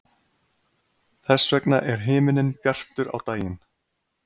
Þess vegna er himinninn bjartur á daginn.